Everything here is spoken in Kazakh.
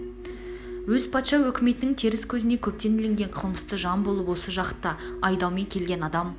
өз патша өкметнің теріс көзіне көптен ілінген қылмысты жан болып осы жаққа айдаумен келген адам